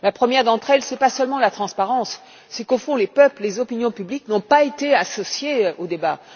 La première d'entre elles, ce n'est pas seulement la transparence, c'est qu'au fond, les peuples et les opinions publiques n'ont pas été associés au débat.